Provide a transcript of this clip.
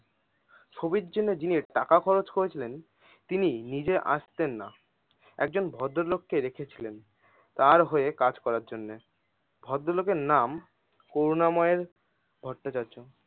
ছবির জন্য যিনি টাকা খরচ করেছিলে তিনি নিজে আসতেন না। একজন ভদ্র লোককে রেখেছিলেন তার হয়ে কাজ করার জন্য ভদ্র লোকের নাম করুনা ময়ের ভট্টচার্য্য।